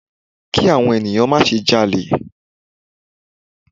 Ki àwọn ènìyàn má se ja'lè